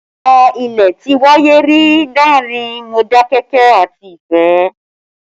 Ìjà ilẹ̀ ti wáyé rí láàrin Modakeke àti Ifẹ